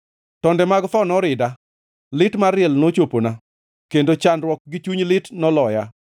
Tonde mag tho norida, lit mar liel nochopona, kendo chandruok gi chuny lit noloya.